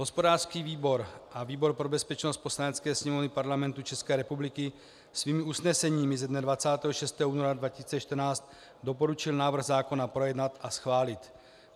Hospodářský výbor a výbor pro bezpečnost Poslanecké sněmovny Parlamentu České republiky svými usneseními ze dne 26. února 2014 doporučil návrh zákona projednat a schválit.